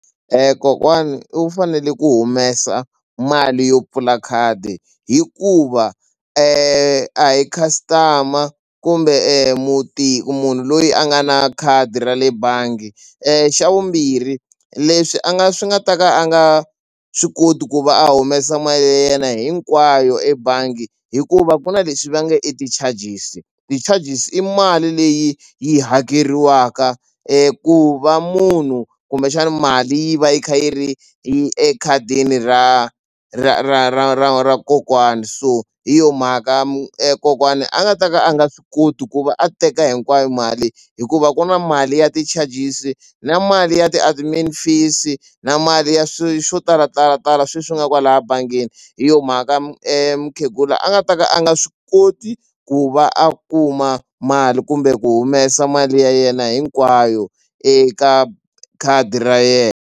Kokwani u fanele ku humesa mali yo pfula khadi hikuva a hi customer kumbe muti munhu loyi a nga na khadi ra le bangi xa vumbirhi leswi a nga swi nga ta ka a nga swi koti ku va a humesa mali ya yena hinkwayo ebangi hikuva ku na leswi va nge i ti-charges ti-charges i mali leyi yi hakeriwaka ku va munhu kumbexana mali yi va yi kha yi ri ekhadini ra ra ra ra ra ra kokwani so hi yona mhaka kokwani a nga ta ka a nga swi koti ku va a teka hinkwayo mali hikuva ku na mali ya ti-charges na mali ya ti-admin fees na mali ya swo talatala tala sweswi nga kwala bangini hi yona mhaka mukhegula a nga ta ka a nga swi koti ku va a kuma mali kumbe ku humesa mali ya yena hinkwayo eka khadi ra .